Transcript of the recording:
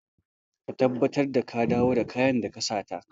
Ka tabbatar da ka dawo da kayan da ka sata!